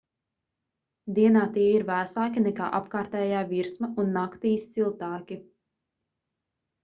dienā tie ir vēsāki nekā apkārtējā virsma un naktīs siltāki